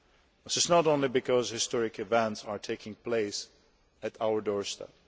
This is not only because historic events are taking place on our doorstep.